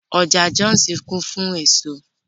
Ọjà Jọ́òsì kún fún èso